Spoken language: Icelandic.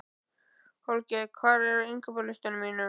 Holger, hvað er á innkaupalistanum mínum?